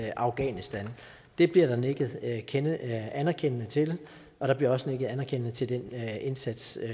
i afghanistan det bliver der nikket anerkendende anerkendende til og der bliver også nikket anerkendende til den indsats